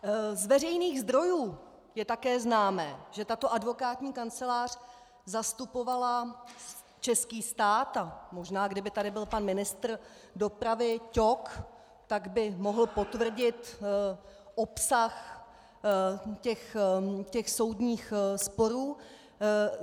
Z veřejných zdrojů je také známo, že tato advokátní kancelář zastupovala český stát, a možná kdyby tady byl pan ministr dopravy Ťok, tak by mohl potvrdit obsah těch soudních sporů.